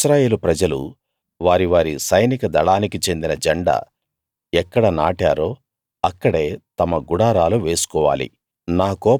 ఇశ్రాయేలు ప్రజలు వారి వారి సైనిక దళానికి చెందిన జెండా ఎక్కడ నాటారో అక్కడే తమ గుడారాలు వేసుకోవాలి